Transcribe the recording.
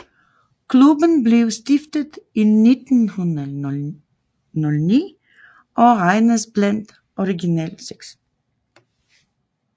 Klubben blev stiftet i 1909 og regnes blandt Original Six